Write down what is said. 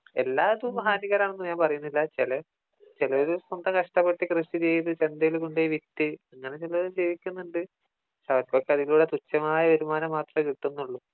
എല്ലാതും ഹാനികരമാണെന്ന് ഞാൻ പറയുന്നില്ല ച്ചാല് ചിലത് നമ്മള് കഷ്ടപ്പെട്ട് കൃഷി ചെയ്ത് ചന്തയില് കൊണ്ടുപോയി വിറ്റ് അങ്ങനെ ചേലോര് ജീവിക്കുന്നുണ്ട് പക്ഷേ അവർക്കൊക്കെ അതിനുള്ള തുച്ഛമായ വരുമാനെ മാത്രേ കിട്ടുന്നുള്ളൂ